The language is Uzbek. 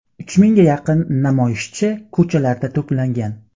Uch mingga yaqin namoyishchi ko‘chalarda to‘plangan.